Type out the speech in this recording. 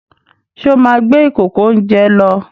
Ṣé ó máa gbé ìkòkò-oúnjẹ lọ?